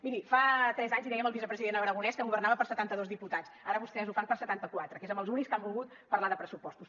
miri fa tres anys li dèiem al vicepresident aragonès que governava per a setanta dos diputats ara vostès ho fan per a setanta quatre que és amb els únics que han volgut parlar de pressupostos